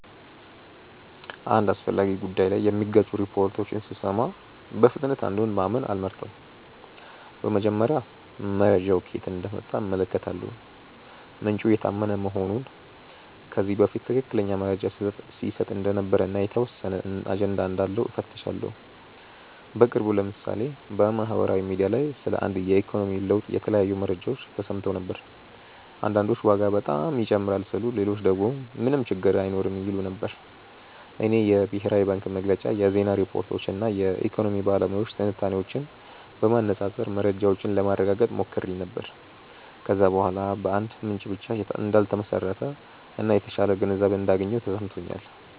አንድ አስፈላጊ ጉዳይ ላይ የሚጋጩ ሪፖርቶችን ሲሰሙ በፍጥነት አንዱን ማመን አልመርጥም። በመጀመሪያ መረጃው ከየት እንደመጣ እመለከታለሁ፤ ምንጩ የታመነ መሆኑን፣ ከዚህ በፊት ትክክለኛ መረጃ ሲሰጥ እንደነበር እና የተወሰነ አጀንዳ እንዳለው እፈትሻለሁ። በቅርቡ ለምሳሌ በማህበራዊ ሚዲያ ላይ ስለ አንድ የኢኮኖሚ ለውጥ የተለያዩ መረጃዎች ተሰምተው ነበር። አንዳንዶች ዋጋ በጣም ይጨምራል ሲሉ ሌሎች ደግሞ ምንም ችግር አይኖርም ይሉ ነበር። እኔ የብሔራዊ ባንክ መግለጫ፣ የዜና ሪፖርቶች እና የኢኮኖሚ ባለሙያዎች ትንታኔዎችን በማነፃፀር መረጃውን ለማረጋገጥ ሞክሬ ነበር። ከዚያ በኋላ በአንድ ምንጭ ብቻ እንዳልተመሰረተ እና የተሻለ ግንዛቤ እንዳገኘሁ ተሰምቶኛል።